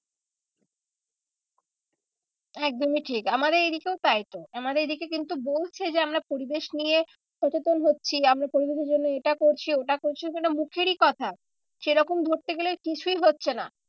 একদমই ঠিক আমাদের এই দিকেও তাই তো আমাদের এইদিকে কিন্তু বলছে যে আমরা পরিবেশ নিয়ে সচেতন হচ্ছি আমরা পরিবেশের জন্য এটা করছি ওটা করছি মুখেরই কথা সেরকম ধরতে গেলে কিছুই হচ্ছে না।